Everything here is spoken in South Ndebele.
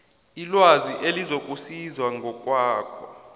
ilwazi elizokusiza ngokwakho